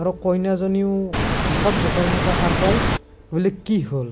আৰু কইনাজনীও, হঠাত জোঁকাৰণিৰ পৰা সাৰ পাই, বোলে কি হল,